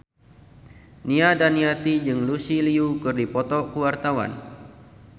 Nia Daniati jeung Lucy Liu keur dipoto ku wartawan